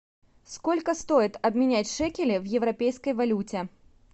сколько стоит обменять шекели в европейской валюте